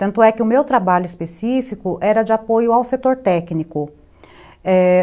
Tanto é que o meu trabalho específico era de apoio ao setor técnico. É...